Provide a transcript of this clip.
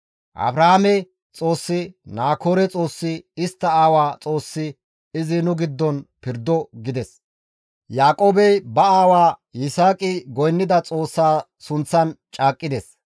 Abrahaame Xoossi, Naakoore Xoossi, istta aawa Xoossi, izi nu giddon pirdo» gides. Yaaqoobey ba aawa Yisaaqi goynnida Xoossa sunththan caaqqides.